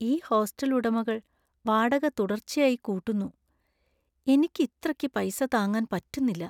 ഈ ഹോസ്റ്റൽ ഉടമകൾ വാടക തുടർച്ചയായി കൂട്ടുന്നു , എനിക്ക് ഇത്രക്ക് പൈസ താങ്ങാൻ പറ്റുന്നില്ല .